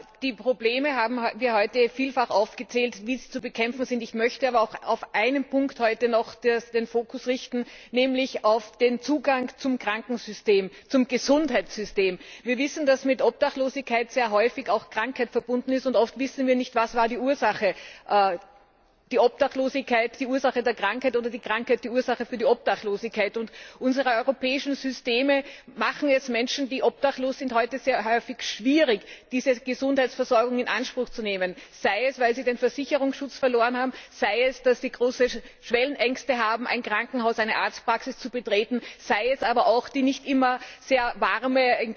Wie die Probleme zu bekämpfen sind, haben wir heute vielfach aufgezählt. Ich möchte aber auch auf einen Punkt heute noch den Fokus richten, nämlich auf den Zugang zum Gesundheitssystem. Wir wissen, dass mit Obdachlosigkeit sehr häufig auch Krankheit verbunden ist, und oft wissen wir nicht, was die Ursache war Ist die Obdachlosigkeit die Ursache der Krankheit oder die Krankheit die Ursache der Obdachlosigkeit? Unsere europäischen Systeme machen es Menschen, die obdachlos sind, heute häufig schwer, diese Gesundheitsversorgung in Anspruch zu nehmen, sei es, weil sie den Versicherungsschutz verloren haben, sei es, weil sie große Schwellenängste haben, ein Krankenhaus, eine Arztpraxis zu betreten, sei es wegen des nicht immer sehr warmen